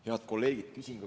Head kolleegid!